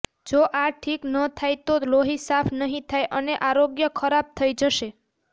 જો આ ઠીક ન થાય તો લોહી સાફ નહી થાય અને આરોગ્ય ખરાબ થઈ જશે